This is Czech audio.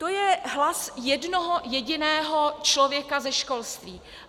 To je hlas jednoho jediného člověka ze školství.